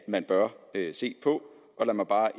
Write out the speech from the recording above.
man bør se på og lad mig bare